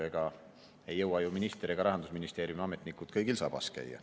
Ega ei jõua ju minister ega Rahandusministeeriumi ametnikud kõigil sabas käia.